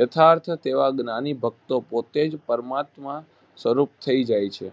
યથાર્થ તેવા જ્ઞાની ભક્તો પોતે જ પરમાત્મા સ્વરૂપ થઈ જાય છે.